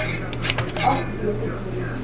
agt weke duur